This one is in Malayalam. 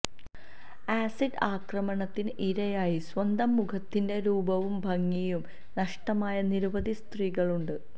ആസിഡ് ആക്രമണത്തിന് ഇരയായി സ്വന്തം മുഖത്തിന്റെ രൂപവും ഭംഗിയും നഷ്ടമായ നിരവധി സ്ത്രീകളുണ്ട്